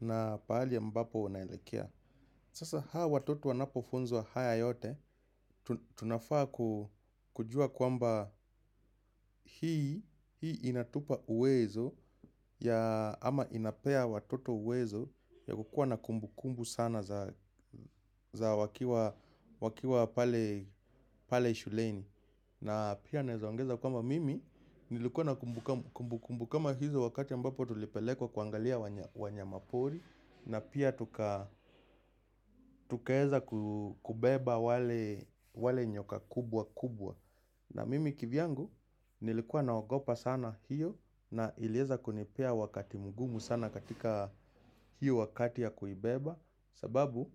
na paali ambapo unaelekea. Sasa hao watoto wanapo funzwa haya yote, tunafaa kujua kwamba hii inatupa uwezo ya ama inapea watoto uwezo ya kukua na kumbu kumbu sana za wakiwa pale shuleni. Na pia naezaongeza kwamba mimi nilikuwa na kumbu kumbu kama hizo wakati ambapo tulipelekwa kuangalia wanya mapori. Na pia tukaeza kubeba wale nyoka kubwa kubwa. Na mimi kivyangu nilikuwa nawagopa sana hiyo na ilieza kunipea wakati mgumu sana katika hiyo wakati ya kuibeba. Sababu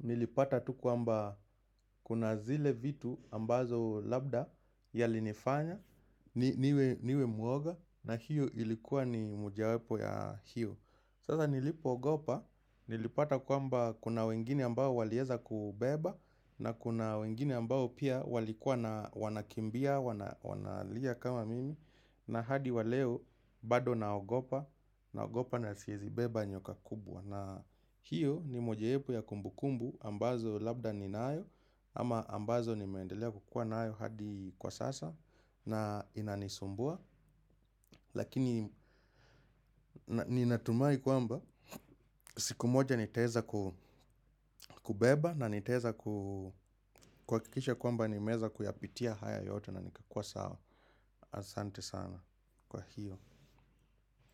nilipata tu kwamba kuna zile vitu ambazo labda yali nifanya niwe muoga na hiyo ilikuwa ni mojawepo ya hiyo. Sasa nilipo ogopa nilipata kwamba kuna wengine ambao walieza kubeba na kuna wengine ambao pia walikuwa na wanakimbia, wanalia kama mimi. Na hadi waleo bado naogopa, naogopa na siwezi beba nyoka kubwa. Na hiyo ni mojawapo ya kumbukumbu ambazo labda ninayo ama ambazo nimeendelea kukua nayo hadi kwa sasa na inanisumbua. Lakini ninatumai kwamba siku moja niteweza kubeba, na nitaweza kuhakikisha kwamba nimeeza kuyapitia haya yote na nikakua sawa. Asante sana kwa hiyo.